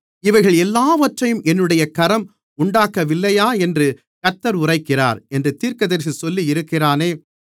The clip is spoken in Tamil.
இவைகள் எல்லாவற்றையும் என்னுடைய கரம் உண்டாக்கவில்லையா என்று கர்த்தர் உரைக்கிறார் என்று தீர்க்கதரிசி சொல்லியிருக்கிறானே